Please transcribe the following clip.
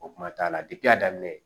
O kuma t'a la a daminɛ